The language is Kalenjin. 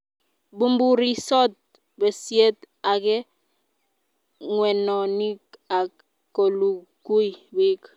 bumburisot besiet age ng'wenonik ak kolugui biik